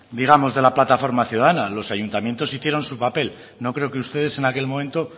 digamos de la plataforma ciudadana los ayuntamientos hicieron su papel no creo que ustedes en aquel momento